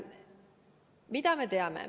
Mida me teame?